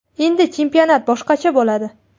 Endi chempionat boshqacha bo‘ladi.